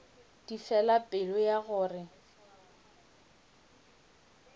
di fela pelo ya gore